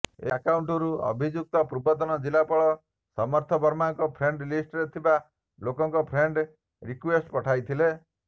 ଏହି ଆକାଉଂଟରୁ ଅଭିଯୁକ୍ତ ପୂର୍ବତନ ଜିଲ୍ଲାପାଳ ସମର୍ଥ ବର୍ମାଙ୍କ ଫ୍ରେଣ୍ଡ ଲିଷ୍ଟରେ ଥିବା ଲୋକଙ୍କୁ ଫ୍ରେଣ୍ଡ ରିକୁଏଷ୍ଟ ପଠାଉଥିଲା